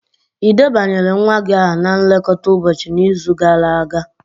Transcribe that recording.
Ị debanyere nwa gị aha na nlekọta ụbọchị n'izu gara aga?